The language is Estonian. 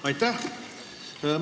Aitäh!